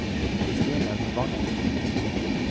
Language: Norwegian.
Kristine Wangen